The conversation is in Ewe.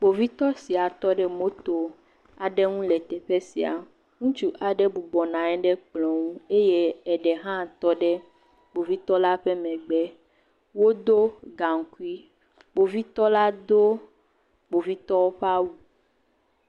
Kpovitɔ sia tɔ ɖe moto aɖe ŋu le teƒe sia, ŋutsu aɖe bɔbɔ nɔ anyi ɖe kplɔ ŋu eye eɖe hã tɔ ɖe kpovitɔ la megbe, wodo gaŋkui eye kpovitɔ la do kpovitɔwo ƒe awu,